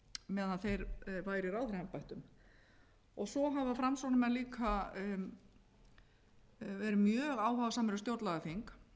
meðan þeir væru í ráðherraembættum svo hafa framsóknarmenn líka verið mjög áhugasamir um stjórnlagaþing